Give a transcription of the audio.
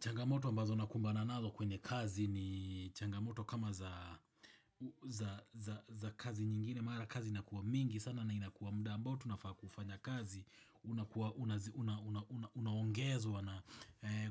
Changamoto ambazo nakumbana nazo kwenye kazi ni changamoto kama za kazi nyingine, mara kazi inakuwa mingi sana na inakuwa mda ambao tunafaa kufanya kazi, unaongezwa na